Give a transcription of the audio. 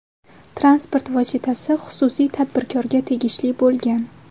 Transport vositasi xususiy tadbirkorga tegishli bo‘lgan.